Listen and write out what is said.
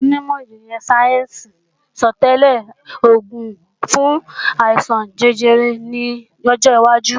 Àwọn onímọ̀ ìjìnlẹ̀ sáyẹ́ǹsì sọtẹ́lẹ̀ oògùn fún àìsàn jẹjẹrẹ ní ọjọwájú